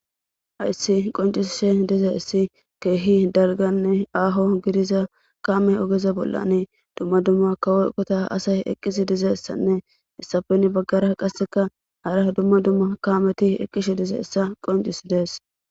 ayssi qoncisshe diza issi keehi dalganne aaho gidiza kaame ogeza bollani dumma dumma kawoqota asay eqqisi dizessanne issafen baggara qasseka hara dumma dumma kaameti eqqishe dize essa qoncis dees